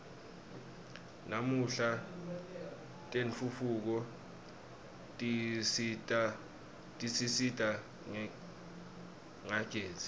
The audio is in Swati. namuhla tentfutfuko tisisita ngagezi